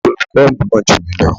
Olùkọ́ mi mọ̀ jù mí lọ.